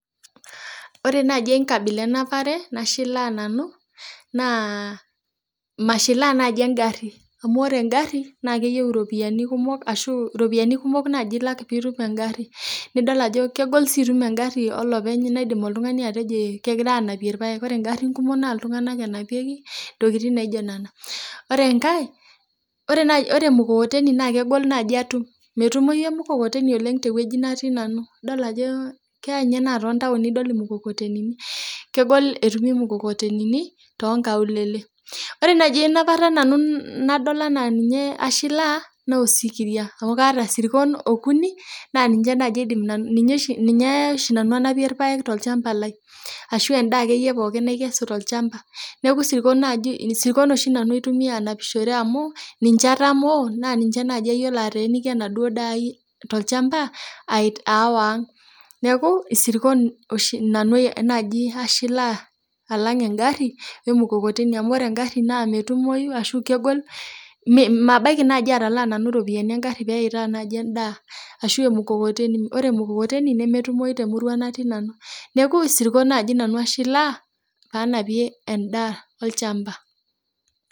Ore naaji enkabila enapare nashilaa nanu naa mashilaa naaji engarri amu ore engarri naa keyieu iropiani kumok ashu iropiani kumok naaji ilak piitum engarri nidol ajo kegol sii itum engarri olopeny naidim oltung'ani atejo ekegirae anapie irpayek ore ingarrin kumok naa ingarrin naa iltung'anak enapieki intokiting naijio nena ore enkae ore naae ore emukokoteni naa kegol naaji atum metumoi emukokoteni oleng tewueji natii nanu idol ajo keya inye naa tontaoni idol imukokotenini kegol etumi imukokotenini tonkaulele ore naaji enapata nanu nadol anaa ninye ashilaa naa osikiria amu kaata isirkon okuni naa ninche naaji aidim nanu ninche oshi ninye oshi nanu anapie irpayek tolchamba lai ashu endaa akeyie pookin naikesu tolchamba lai ashu endaa akeyie pookin naikesu tolchamba neeku isirkon oshi nanu aitumia anapishore amu ninche atamoo naa ninche naaji ayiolo ateeniki enaduo daa ai tolchamba ait aawa ang niaku isirkon oshi nanu naaji ashilaa alang engarri wemukokoteni amu ore engarri naa metumoi ashu kegol mee mabaiki naaji atalaa nanu iropiani engarri peitaa naji endaa ashu emukokoteni ore emukokoteni nemetumoi temurua natii nanu neeku isirkon naaji nanu ashilaa panapie endaa olchamba.